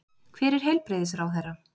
Hver er heilbrigðisráðherra?